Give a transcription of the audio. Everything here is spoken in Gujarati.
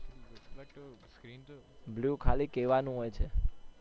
blue ખાલી કેવાનું હોય છે.